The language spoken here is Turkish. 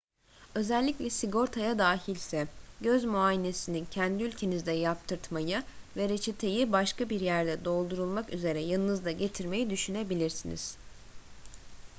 özellikle sigortaya dahilse göz muayenesini kendi ülkenizde yaptırtmayı ve reçeteyi başka bir yerde doldurulmak üzere yanınızda getirmeyi düşünebilirsiniz